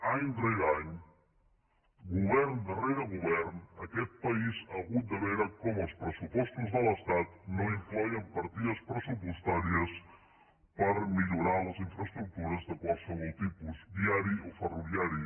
any rere any govern rere govern aquest país ha hagut de veure com els pressupostos de l’estat no incloïen partides pressupostàries per millorar les infraestructures de qualsevol tipus viari o ferroviari